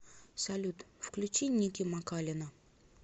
салют включи ники макалина